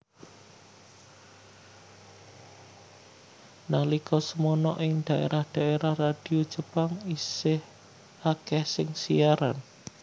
Nalika semana ing daérah daérah radio Jepang isih akèh sing siaran